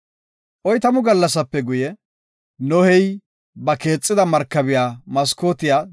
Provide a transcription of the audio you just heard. Oytamu gallasape guye, Nohey ba keexida markabiya maskootiya